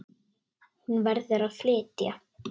Hún verður að flytja.